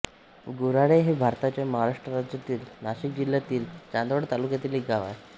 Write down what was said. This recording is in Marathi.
गुऱ्हाळे हे भारताच्या महाराष्ट्र राज्यातील नाशिक जिल्ह्यातील चांदवड तालुक्यातील एक गाव आहे